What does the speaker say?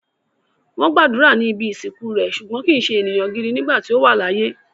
Wọ́n gbàdúrà ní ibi ìsìnkú rẹ̀, ṣùgbọ́n kìí se èèyàn gidi nígbà tí ó wà láyé